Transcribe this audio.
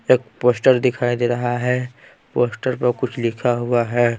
एक पोस्टर दिखाई दे रहा है पोस्टर पर कुछ लिखा हुआ है।